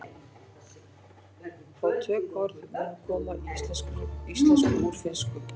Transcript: Fá tökuorð munu komin í íslensku úr finnsku.